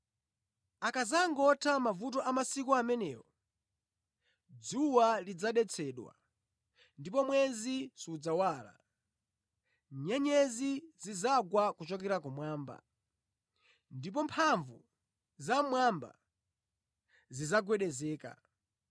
“Akadzangotha mavuto a masiku amenewo, “ ‘dzuwa lidzadetsedwa, ndipo mwezi sudzawala; nyenyezi zidzagwa kuchokera kumwamba, ndipo mphamvu za mmwamba zidzagwedezeka.’